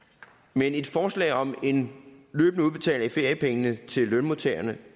men et forslag om en løbende udbetaling af feriepengene til lønmodtagerne